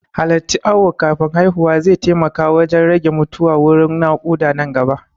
Halarta awo kafin haihuwa zai taimaka wajan rage mutuwa wurin naƙuda nan gaba